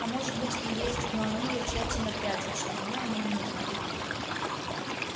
а может быть и есть но они её тщательно прячут чтобы мы о ней не узнали